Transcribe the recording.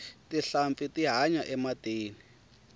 tinhlampfi ti hanya ematini